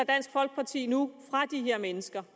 dansk folkeparti nu fra de her mennesker